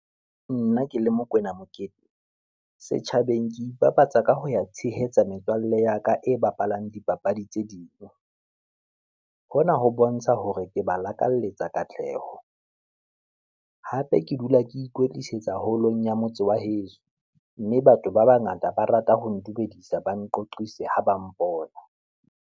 Nna ke le Mokwena Mokete, setjhabeng ke Ibapatsa ka ho ya tshehetsa metswalle ya ka e bapalang dipapadi tse ding. Hona ho bontsha hore ke balakaletsa katleho, hape ke dula ke ikwetlisetsa haholong ya motse wa heso. Mme batho ba bangata ba rata ho ndumedisa, ba nqoqise ha ba mpona.